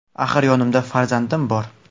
Axir yonimda farzandim bor.